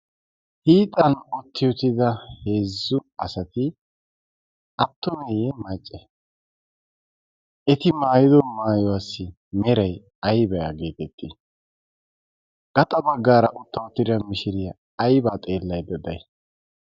hiixan utti utida heezzu asati attoneeyye macce eti maayido maayuwaassi meray aybaa geetettii gaxa baggaara utta uttiria mishiriyaa aybaa xeellade day